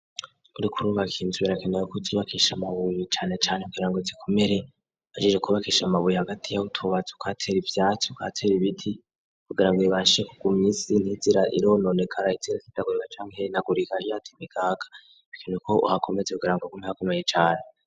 Urukurubakinzubirakenewekuzubakisha amabuyi canecane kugira ngo zikomere ajije kubakisha amabuyi hagati yabo utubaza ukoatera ivyacu ka tera ibiti kugira ngo bibashe kugumy isi nizira ilononegara izira sidagurika cankere nagurigahyato inekaka ikin uko uhakomeze kugira ngo gumhakomeye cane.